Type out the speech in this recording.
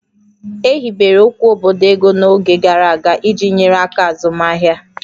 E hibere okwu obodo ego n'oge gara aga iji nyere aka azụmaahịa